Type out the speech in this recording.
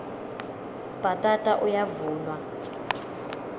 bhatata uyavunwa